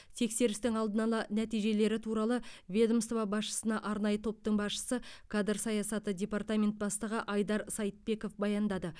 тексерістің алдын ала нәтижелері туралы ведомство басшысына арнайы топтың басшысы кадр саясаты департаментінің бастығы айдар сайтбеков баяндады